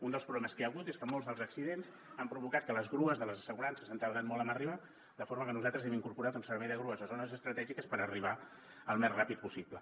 un dels problemes que hi ha hagut és que molts dels accidents han provocat que les grues de les assegurances han tardat molt en arribar de forma que nosaltres hem incorporat un servei de grues a zones estratègiques per arribar al més ràpid possible